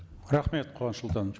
рахмет куаныш сұлтанович